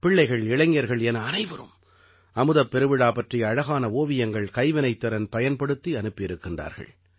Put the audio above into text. பிள்ளைகள் இளைஞர்கள் என அனைவரும் அமுதப் பெருவிழா பற்றிய அழகான ஓவியங்கள் கைவினைத்திறன் பயன்படுத்தி அனுப்பியிருக்கிறார்கள்